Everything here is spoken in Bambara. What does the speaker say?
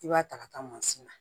I b'a ta ka taa mansin na